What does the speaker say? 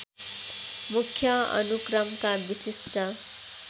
मुख्य अनुक्रमका विशिष्ट